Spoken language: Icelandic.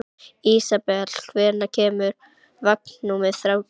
Ísabel, hvenær kemur vagn númer þrjátíu?